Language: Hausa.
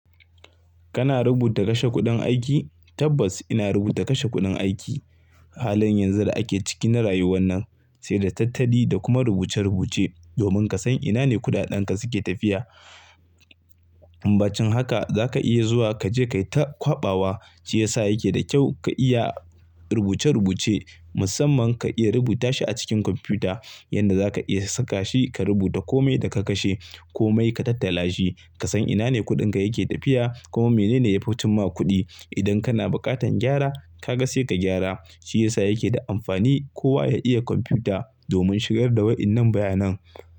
Kana rubuta kashe kuɗin aiki? Tabbas ina rubuta kashe kuɗin aiki. Halin yanzu da ake ciki na rayuwan nan, sai da tattadi da kuma rubuce-rubuce domin ka san ina ne kuɗaɗanka suke tafiya. Kuma bacin haka za ka iya zuwa ka je ka yi ta kwaɓawa, shi ya sa yake da kyau ka iya rubuce-rubuce, musamman ka iya rubuta shi a cikin kwamfuta. Yanda za ka iya saka shi ka rubuta komi da ka kashe, kome ka tattala shi, ka san ina ne kuɗinka yake tafiya, kuma mene ne yafi cin ma kuɗi. Idan kana buƙatan gyara, ka ga sai ka gyara. Shi ya sa yake da amfani kowa ya iya kwamfuta domin shigar da waɗannan bayanan.